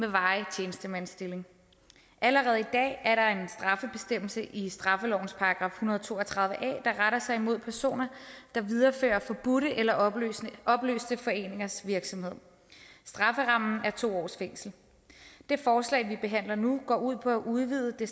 en varig tjenestemandsstilling allerede i dag er der en straffebestemmelse i straffelovens § en hundrede og to og tredive a der retter sig imod personer der viderefører forbudte eller opløste opløste foreningers virksomhed strafferammen er to års fængsel det forslag vi behandler nu går ud på at udvide det